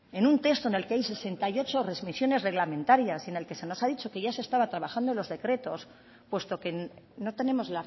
en un texto en el que hay sesenta y ocho remisiones reglamentarias y en el que se nos ha dicho que ya se estaba trabajando en los decretos puesto que no tenemos